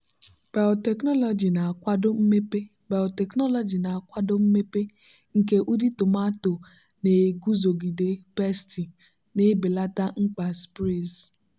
biotechnology na-akwado mmepe biotechnology na-akwado mmepe nke ụdị tomato na-eguzogide pesti na-ebelata mkpa sprays.